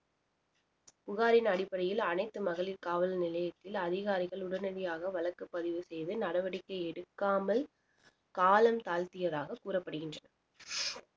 புகாரின் அடிப்படையில் அனைத்து மகளிர் காவல் நிலையத்தில் அதிகாரிகள் உடனடியாக வழக்கு பதிவு செய்து நடவடிக்கை எடுக்காமல் காலம் தாழ்த்தியதாக கூறப்படுகின்றது